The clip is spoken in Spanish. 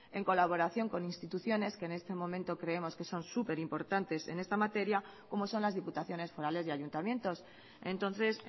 en colaboración con instituciones que en este momento creemos que son super importantes en esta materia como son las diputaciones forales y ayuntamientos entonces